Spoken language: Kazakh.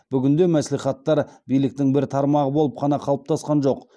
бүгінде мәслихаттар биліктің бір тармағы болып қана қалыптасқан жоқ